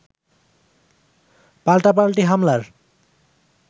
পাল্টাপাল্টি হামলার